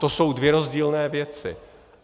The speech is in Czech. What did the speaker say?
To jsou dvě rozdílné věci.